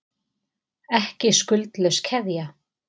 Ekki skuldlaus keðja